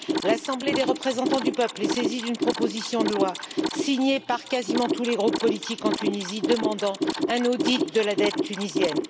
L'Assemblée des représentants du peuple est saisie d'une proposition de loi signée par quasiment tous les groupes politiques en Tunisie, demandant un audit de la dette tunisienne.